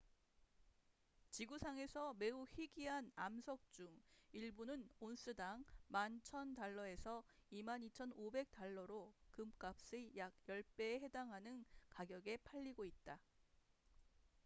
지구상에서 매우 희귀한 암석 중 일부는 온스당 11,000달러에서 22,500달러로 금값의 약 10배에 달하는 가격에 팔리고 있다